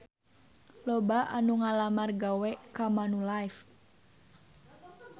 Loba anu ngalamar gawe ka Manulife